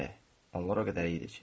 onlar o qədər idi ki.